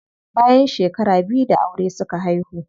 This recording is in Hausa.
Bayan shekara biyu da aure suka haihu.